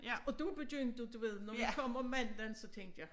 Og der begyndte du ved når vi kom om mandagen så tænkte jeg